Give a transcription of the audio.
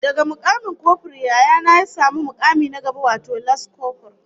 Daga mukamin kofur Yaya na ya samu mukami na gaba wato las kofur